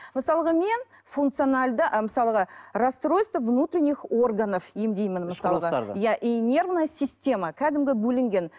мысалға мен функционалды ы мысалға расстройства внутренних органов емдеймін ішкі құрылыстарды иә нервная система кәдімгі бөлінген